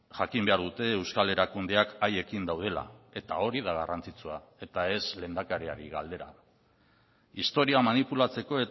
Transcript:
jakin behar dute euskal erakundeak haiekin daudela eta hori da garrantzitsua eta ez lehendakariari galdera historia manipulatzeko